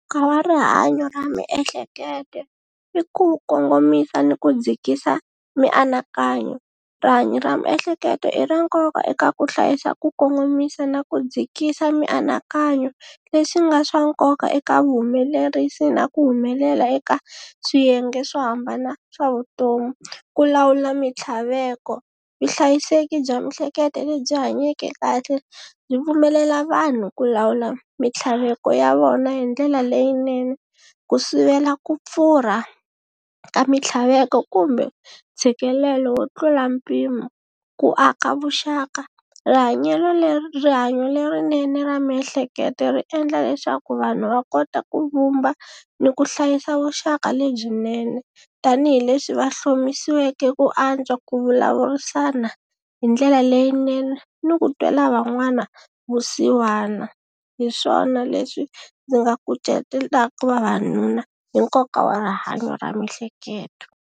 rihanyo ra miehleketo i ku kongomisa ni ku dzikisa mianakanyo rihanyo ra miehleketo i ra nkoka eka ku hlayisa ku kongomisa na ku dzikisa mianakanyo leswi nga swa nkoka eka vuhumelerisi na ku humelela eka swiyenge swo hambana swa vutomi ku lawula mintlhaveko vuhlayiseki bya miehleketo lebyi hanyeke kahle byi pfumelela vanhu ku lawula mintlhaveko ya vona hi ndlela leyinene ku sivela ku pfurha ka mitlhaveko kumbe ntshikelelo yo tlula mpimo ku aka vuxaka rihanyo lerinene ra miehleketo ri endla leswaku vanhu va kota ku vumba ni ku hlayisa vuxaka lebyinene tanihileswi va hlomisiweke ku antswa ku vulavurisana hi ndlela leyinene ni ku twela van'wana vusiwana h iswona leswi ndzi nga ku cucetela vavanuna hi nkoka wa rihanyo ra miehleketo.